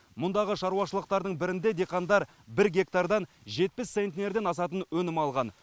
мұндағы шаруашылықтардың бірінде диқандар бір гектардан жетпіс центнерден асатын өнім алған